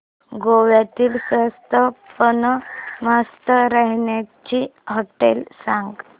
गोव्यातली स्वस्त पण मस्त राहण्याची होटेलं सांग